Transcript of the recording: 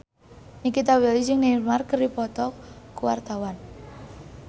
Nikita Willy jeung Neymar keur dipoto ku wartawan